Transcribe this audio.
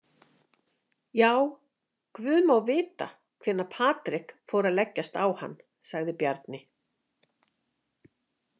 Já, guð má vita hvenær Patrik fór að leggjast á hann, sagði Bjarni.